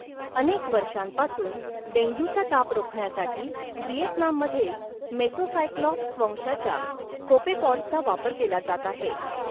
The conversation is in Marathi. अनेक वर्षांपासून, डेंग्यूचा ताप रोखण्यासाठी व्हिएतनाममध्ये मेसोसायक्लॉप्स वंशाच्या कोपेपॉड्सचा वापर केला जात आहे.